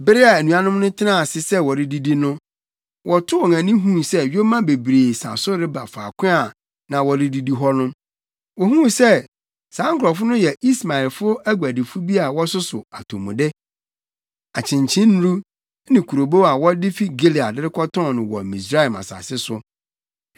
Bere a anuanom no tenaa ase sɛ wɔredidi no, wɔtoo wɔn ani huu sɛ yoma bebree sa so reba faako a na wɔrebedidi hɔ no. Wohuu sɛ saa nkurɔfo no yɛ Ismaelfo aguadifo bi a wɔsoso atomude, akyenkyennuru ne kurobow a wɔde fi Gilead rekɔtɔn no wɔ Misraim asase so.